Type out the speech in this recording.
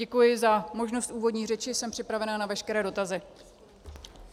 Děkuji za možnost úvodní řeči, jsem připravena na veškeré dotazy.